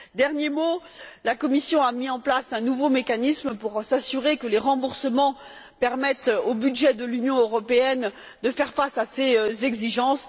Dernier mot, la Commission a mis en place un nouveau mécanisme pour s'assurer que les remboursements permettent au budget de l'Union européenne de faire face à ces exigences.